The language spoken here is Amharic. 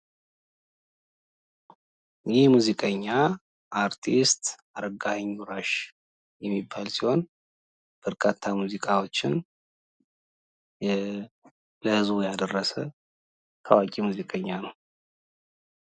ይህ ሙዚቀኛ አርቲስት አረጋኸኝ ወራሽ የሚባል ሲሆን በርካታ ሙዚቃዎችን ለህዝቡ ያደረሰ ታዋቂ ሙዚቀኛ ነው ።